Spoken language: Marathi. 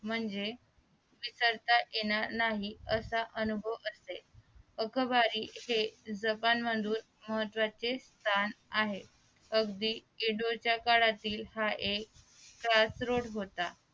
म्हणजे विसरता येणार नाही असा अनुभव असेल अकबरी हे जपान मधुन महत्वाचे स्थान आहे अगदी येडोळाच्या काळातील हा एक खास रूट होता